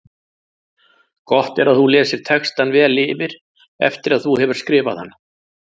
Gott er að þú lesir textann vel yfir eftir að þú hefur skrifað hann.